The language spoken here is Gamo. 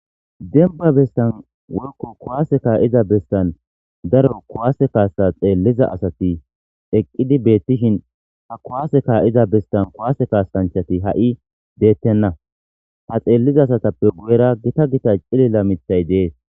Denba bestan woykko kuwaase kaa7iza bestan daro kuwaase kaasa xeelliza asati eqqidi beettishin ha kuwaase ka7iza bestan kuwaase kaasanchati ha7i deettenna ha xeelliza asatappe guyera gita gita cilila mithay dees